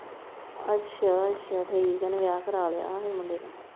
ਅੱਛਾ ਅੱਛਾ ਠੀਕ ਆ ਉਹਨੇ ਵਿਆਹ ਕਰਾਇਆ ਲਿਆ ਉਹਨੇ ਮੁੰਡੇ ਨੇ।